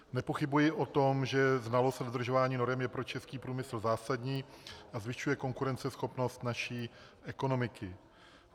Nepochybuji o tom, že znalost a dodržování norem je pro český průmysl zásadní a zvyšuje konkurenceschopnost naší ekonomiky.